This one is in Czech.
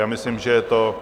A myslím, že je to...